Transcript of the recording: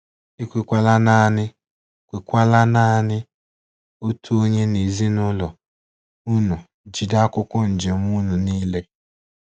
E kwekwala naanị kwekwala naanị otu onye n'ezinụlọ unu jide akwụkwọ njem unu niile.